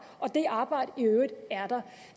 og det arbejde i øvrigt er